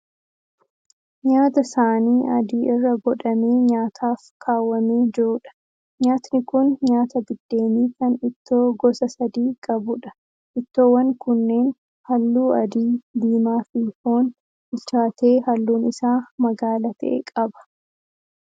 Nyaata saanii adii irra godhamee nyaataaf kaawwamee jiruudha, Nyaatni kun nyaata biddeenii kan ittoo gosa sadii qabuudha. Ittoowwan kunneen halluu adii, diimaa fi foon bichaatee halluun isaa magaala ta'e qaba.